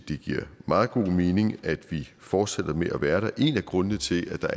det giver meget god mening at vi fortsætter med at være der en af grundene til at